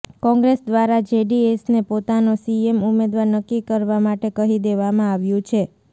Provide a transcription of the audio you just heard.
કોંગ્રેસ દ્વારા જેડીએસને પોતાનો સીએમ ઉમેદવાર નક્કી કરવા માટે કહી દેવામાં આવ્યું છે